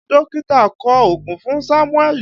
Dókítà kọ ògùn fún Sámúẹ́lì